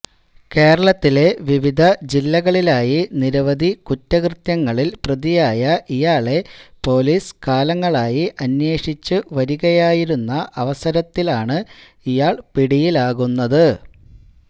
കേരളത്തിലെ വിവിധ ജില്ലകളിലായി നിരവധി കുറ്റകൃത്യങ്ങളില് പ്രതിയായ ഇയാളെ പൊലീസ് കാലങ്ങളായി അന്വേഷിച്ച് വരികയായിരുന്ന അവസരത്തിലത്തിലാണ് ഇയാള് പിടിയിലാകുന്നത്